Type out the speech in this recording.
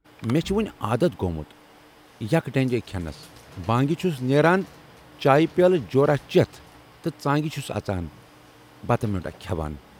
مے چھُ وۅنۍ عادت گومُت یک ڈٔنگی کھٮ۪نَس، بانگہِ چھُس نیران چایہِ پیالہٕ جوراہ چٮ۪تھ تہٕ ژانگہِ چھُس اَژان بتہٕ میونڈا کھٮ۪وان